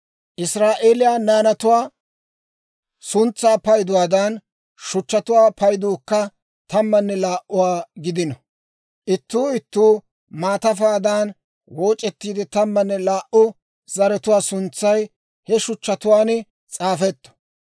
Israa'eeliyaa naanatuwaa suntsaa payduwaadan, shuchchatuwaa payduukka tammanne laa"uwaa gidino; ittuu ittuu maatafaadan wooc'ettiide, tammanne laa"u zaratuwaa suntsay he shuchchatuwaan s'aafetto.